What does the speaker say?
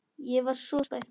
Ég var svo spennt.